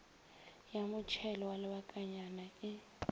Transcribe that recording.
ya motšhelo wa lebakanyana e